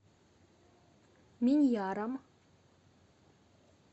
миньяром